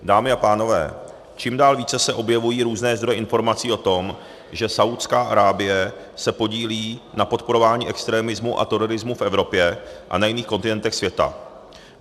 Dámy a pánové, čím dál více se objevují různé zdroje informací o tom, že Saúdská Arábie se podílí na podporování extremismu a terorismu v Evropě a na jiných kontinentech světa.